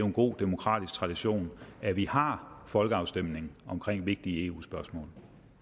en god demokratisk tradition at vi har folkeafstemninger om vigtige eu spørgsmål